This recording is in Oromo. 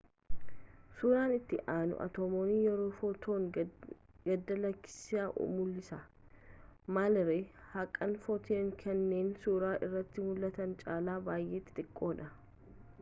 suuraan itti aanu atomoonni yeroo footoonii gad lakkissan mullisa maal ree haqaan footoniin kanneen suuraa irratti mul'atan caalaa baay'ee xixiqqoodha